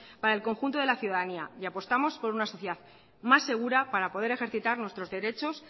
para el conjunto de la ciudadanía y apostamos por una sociedad más segura para poder ejercitar nuestros derechos